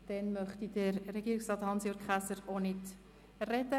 Dann möchte Regierungsrat Hans-Jürg Käser auch nicht sprechen.